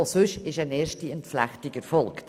Auch sonst ist eine erste Entflechtung erfolgt.